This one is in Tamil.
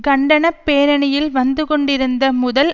கண்டன பேரணியில் வந்துகொண்டிருந்த முதல்